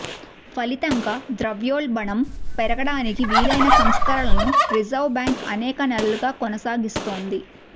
ఫలితంగా ద్రవ్యోల్బణం పెరగడానికి వీలైన సంస్కరణలను రిజర్వ్ బ్యాంక్ అనేక నెలలుగా కొనసాగిస్తోంది